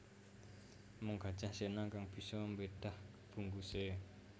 Mung Gajah Sena kang bisa mbedah bungkuse